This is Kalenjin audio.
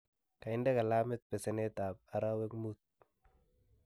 kainde gilamit peseneet ap arawek muut